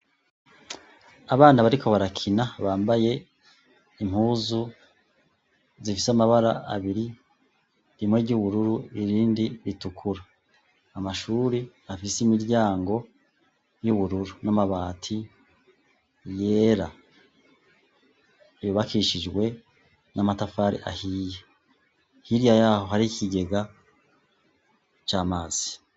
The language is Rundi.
Abana bariko barakina bambaye impuzu zifise amabara abiri rimwe ry'ubururu irindi ritukura amashuri afise imiryango y'ubururu n'amabati yera yubakishijwe na matafari ahiye hirya yaho hari ikigega c'amazi.